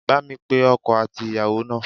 Bá mi pe ọkọ àti ìyàwó náà